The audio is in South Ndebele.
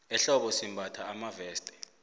ehlobo simbatha amaveste